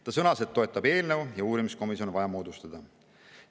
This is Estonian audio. Ta sõnas, et toetab eelnõu ja uurimiskomisjon on vaja moodustada.